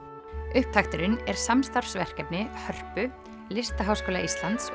upptakturinn er samstarfsverkefni Hörpu Listaháskóla Íslands